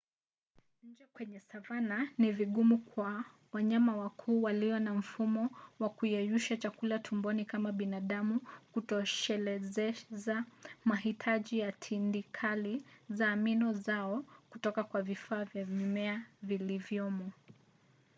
nje kwenye savana ni vigumu kwa wanyama wakuu waliyo na mfumo wa kuyeyusha chakula tumboni kama wa binadamu kutoshelezeza mahitaji ya tindikali-za-amino zao kutoka kwa vifaa vya mimea vilivyomo